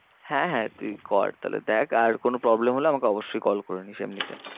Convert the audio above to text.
হ্যাঁ হ্যাঁ তুই কর তাহলে দেখ আর কোনো problem হলে আমাকে অবশ্যই call করে নিবি এমনিতে।